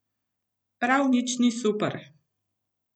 Prav nič ni super.